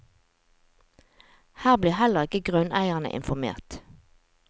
Her blir heller ikke grunneierne informert.